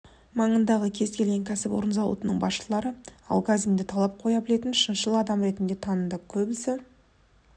маңындағы кез келген кәсіпорын зауыттың басшылары алгазинді талап қоя білетін шыншыл адам ретінде таныды көбісі